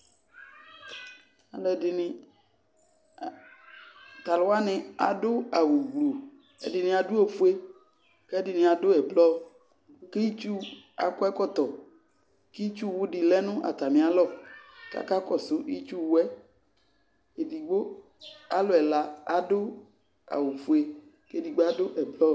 Alʋɛdɩnɩ a tʋ alʋ wanɩ adʋ awʋgblu Ɛdɩnɩ adʋ ofue kʋ ɛdɩnɩ adʋ ɛblɔ kʋ itsu akɔ ɛkɔtɔ kʋ itsuwʋ dɩ lɛ nʋ atamɩalɔ kʋ akakɔsʋ itsuwʋ yɛ Edigbo, alʋ ɛla adʋ awʋfue kʋ edigbo adʋ ɛblɔ